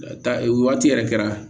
Ta o waati yɛrɛ kɛra